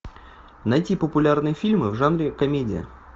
найти популярные фильмы в жанре комедия